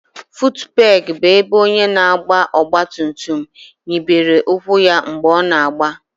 futupegi bụ ebe onye na-agba ọgba tum tum nyibere ụkwụ ya mgbe ọ na-agba